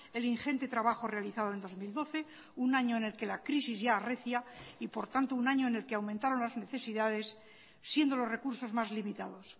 el ingente trabajo realizado en dos mil doce un año en el que la crisis ya arrecia y por tanto un año en el que aumentaron las necesidades siendo los recursos más limitados